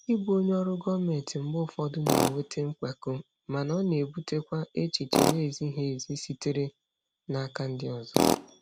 Ịbụ onye ọrụ gọọmentị mgbe ụfọdụ na-eweta mpako, mana ọ na-ebutekwa echiche na-ezighị ezi sitere n'aka ndị ọzọ.